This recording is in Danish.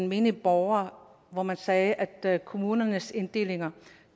menige borgere hvor man sagde at kommunernes inddelinger